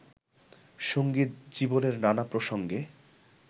সঙ্গীত জীবনের নানা প্রসঙ্গে